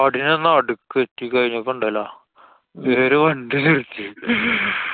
കാടിനു നടുക്ക് എത്തി കഴിഞ്ഞപ്പൊ ഇണ്ടല്ലോ? ഇവരൊരു വണ്ടി എങ്ങട്ടു എടുത്ത്